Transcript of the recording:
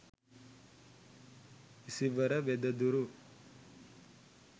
isivara wedaduru